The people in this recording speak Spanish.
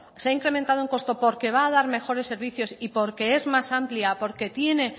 se ha incrementado en costo porque va a dar mejores servicios porque es más amplia porque tiene